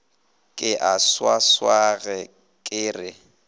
ke a swaswage ke re